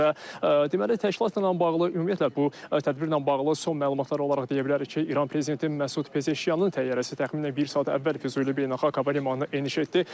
Və deməli təşkilatla bağlı ümumiyyətlə bu tədbirlə bağlı son məlumatlar olaraq deyə bilərik ki, İran prezidenti Məsud Pezeşiyanın təyyarəsi təxminən bir saat əvvəl Füzuli Beynəlxalq Hava Limanına eniş etdi.